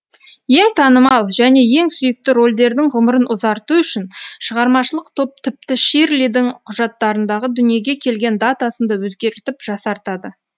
ең танымал және ең сүйікті рольдердің ғұмырын ұзарту үшін шығармашылық топ тіпті ширлидің құжаттарындағы дүниеге келген датасын да өзгертіп жасартады